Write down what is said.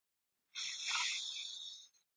Oftast þótti honum þetta ljótt.